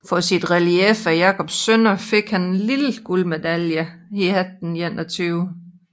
For sit relief af Jacobs sønner fik han den lille guldmedalje 1821